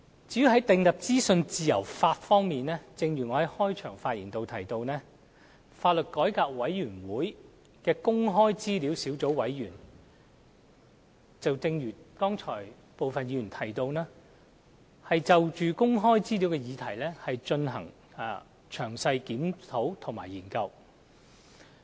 在訂立資訊自由法方面，正如我在開場發言表示，香港法律改革委員會的公開資料小組委員會，正如剛才部分議員提到，正就公開資料的議題進行詳細檢討及研究。